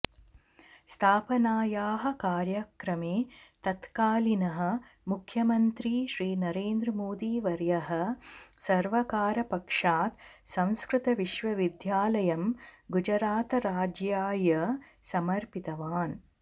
स्थापनायाः कार्यक्रमे तत्कालीनः मुख्यमन्त्री श्रीनरेन्द्रमोदिवर्यः सर्वकारपक्षात् संस्कृतविश्वविद्यालयं गुजरातराज्याय समर्पितवान्